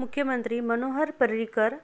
मुख्ममंत्री Manohar Parrikar